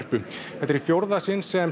þetta er í fjórða sinn sem